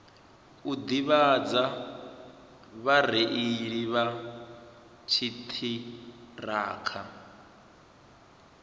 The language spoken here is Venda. u ḓivhadza vhareili vha dziṱhirakha